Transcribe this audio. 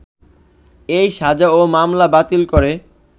এ সাজা ও মামলা বাতিল করে